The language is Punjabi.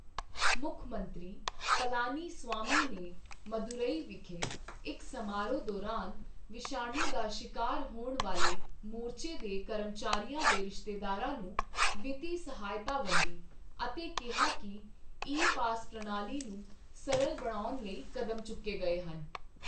ਮੁੱਖ ਮੰਤਰੀ ਪਲਾਨੀਸਵਾਮੀ ਨੇ ਮਦੁਰੈਈ ਵਿਖੇ ਇੱਕ ਸਮਾਰੋਹ ਦੌਰਾਨ ਵਿਸ਼ਾਣੂ ਦਾ ਸ਼ਿਕਾਰ ਹੋਣ ਵਾਲੇ ਮੋਰਚੇ ਦੇ ਕਰਮਚਾਰੀਆਂ ਦੇ ਰਿਸ਼ਤੇਦਾਰਾਂ ਨੂੰ ਵਿੱਤੀ ਸਹਾਇਤਾ ਵੰਡੀ ਅਤੇ ਕਿਹਾ ਕਿ ਈ ਪਾਸ ਪ੍ਰਣਾਲੀ ਨੂੰ ਸਰਲ ਬਣਾਉਣ ਲਈ ਕਦਮ ਚੁੱਕੇ ਗਏ ਹਨ।